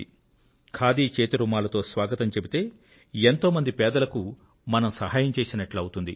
ఖాదీ చేతి రుమాలుతో స్వాగతం చెప్తే ఎంతో మంది పేదలకు మనం సహాయం చేసినట్లవుతుంది